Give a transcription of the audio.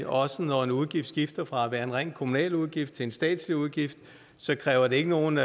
også når en udgift skifter fra at være en ren kommunal udgift til en statslig udgift kræver det ikke nogen